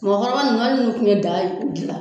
Mɔgɔkɔrɔba nunnu ali nuw kuma daa gilan